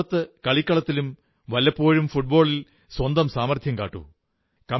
എന്നാൽ പുറത്ത് കളിക്കളത്തിലും വല്ലപ്പോഴും ഫുട്ബോളിൽ സ്വന്തം സാമർഥ്യം കാട്ടൂ